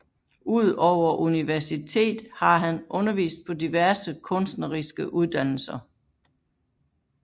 Ud over universitetet har han undervist på diverse kunstneriske uddannelser